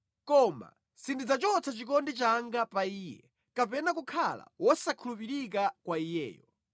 Koma sindidzachotsa chikondi changa pa iye, kapena kukhala wosakhulupirika kwa iyeyo.